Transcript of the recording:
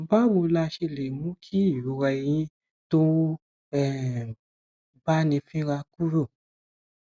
báwo la ṣe lè mú kí ìrora ẹyìn tó ń um báni fínra kúrò